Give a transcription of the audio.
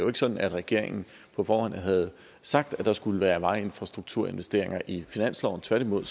er sådan at regeringen på forhånd havde sagt at der skulle være vejinfrastrukturinvesteringer i finansloven tværtimod